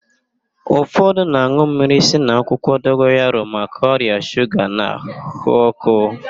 Ụfọdụ na-an̄ụ mmiri si n'akwụkwọ dogoyaro maka ọrịa shuga na ahụ ọ́kụ́.